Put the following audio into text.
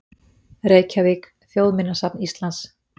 Reykjavík: Þjóðminjasafn Íslands.